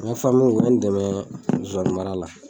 N ka u ye n dɛmɛ zonzanni mara la